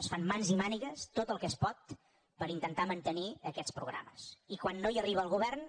es fan mans i mànigues tot el que es pot per intentar mantenir aquests programes i quan no hi arriba el govern